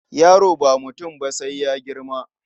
Yaro ba mutum ba sai ya girma.